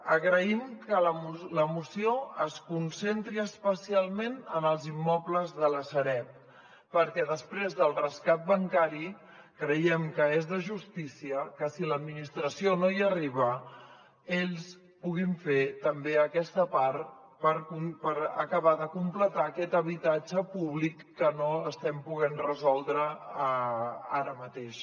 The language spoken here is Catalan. agraïm que la moció es concentri especialment en els immobles de la sareb perquè després del rescat bancari creiem que és de justícia que si l’administració no hi arriba ells puguin fer també aquesta part per acabar de completar aquest habitatge públic que no estem podent resoldre ara mateix